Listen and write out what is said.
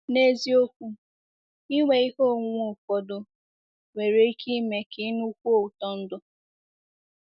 N’eziokwu, inwe ihe onwunwe ụfọdụ nwere ike ime ka ị nụkwuo ụtọ ndụ.